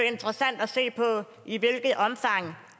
interessant at se i hvilket omfang